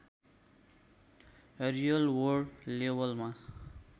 real world लेबलमा